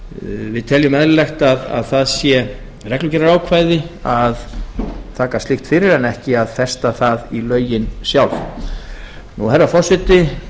við teljum eðlilegt að það sé reglugerðarákvæði að taka slíkt fyrir en ekki að festa það í lögin sjálf herra forseti